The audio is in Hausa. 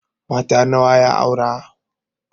Mata nawa ya aure?